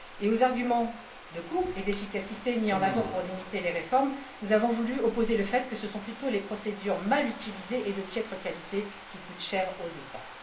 Et aux arguments de coût et d'efficacité mis en avant pour limiter les réformes, nous avons voulu opposer le fait que ce sont plutôt les procédures mal utilisées et de piètre qualité qui coûtent cher aux États.